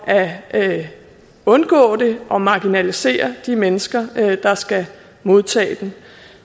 at undgå det og marginalisere de mennesker der skal modtage den